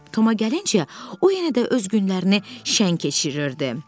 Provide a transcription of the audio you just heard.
Toma gəlincə, o yenə də öz günlərini şəng keçirirdi.